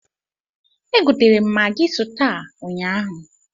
E gotere m magị sụta ụnyaahụ.